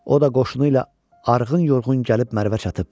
O da qoşunu ilə arğın yorğun gəlib Mərvə çatıb.